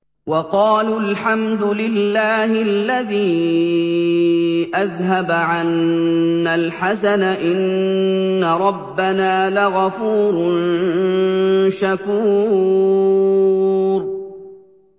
وَقَالُوا الْحَمْدُ لِلَّهِ الَّذِي أَذْهَبَ عَنَّا الْحَزَنَ ۖ إِنَّ رَبَّنَا لَغَفُورٌ شَكُورٌ